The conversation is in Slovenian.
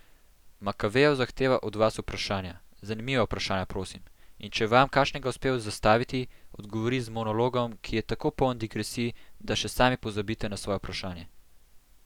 Makavejev zahteva od vas vprašanja, zanimiva vprašanja, prosim, in če vam kakšnega uspe zastaviti, odgovori z monologom, ki je tako poln digresij, da še sami pozabite na svoje vprašanje.